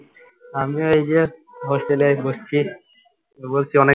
আমি এইযে hostel এ বসছি, বলছি অনেক